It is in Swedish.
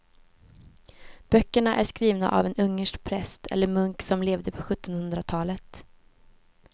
Böckerna är skrivna av en ungersk präst eller munk som levde på sjuttonhundratalet.